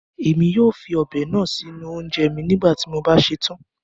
Ẹmi yóò fí ọ́bẹ náà sí ọ̀unjẹ̀ mí nígbàtí mo bá ṣẹ̀tán.